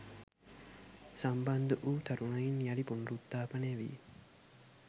සම්බන්ධ වු තරුණයින් යළි පුනුරුත්තාපනය වී